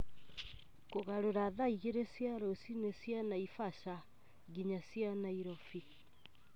Kũgarũra thaa igĩrĩ cia rũcinĩ cia Naivasha nginya cia Nairobi